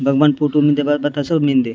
भागवान फोटो मिनदे बाता बाता सो मिनदे।